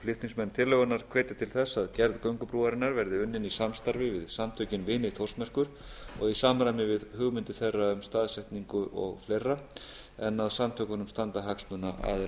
flutningsmenn tillögunnar hvetja til þess að gerð göngubrúarinnar verði unnin í samstarfi við samtökin vini þórsmerkur og í samræmi við hugmyndir þeirra um staðsetningu og fleira en að samtökunum standa hagsmunaaðilar